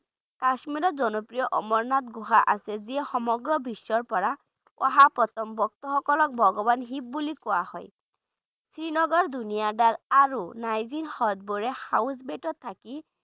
কাশীৰৰ জনপ্ৰিয় অমৰনাথ গুহা আছে যি সমগ্ৰ বিশ্বৰ পৰা অহা প্ৰথম ভক্তসকলক ভগৱান শিৱ বুলি কোৱা হয় শ্ৰীনগৰ ধুনীয়া দাল আৰু নাইজিন হ্ৰদবোৰে houseboat ত থাকি